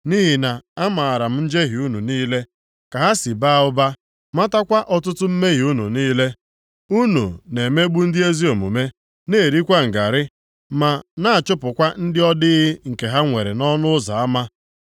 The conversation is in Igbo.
Nʼihi na amaara m njehie unu niile, ka ha si baa ụba, matakwa ọtụtụ mmehie unu niile. Unu na-emegbu ndị ezi omume, na-erikwa ngarị. Ma na-achụpụkwa ndị ọ dịghị nke ha nwere nʼọnụ ụzọ ama.